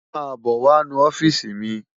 Má bò wá nú òfisi mi